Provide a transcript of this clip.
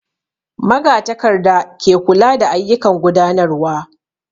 Magatakarda ke kula da ayyukan gudanarwa